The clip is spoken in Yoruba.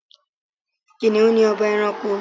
Kìnìún ni ọba ẹranko.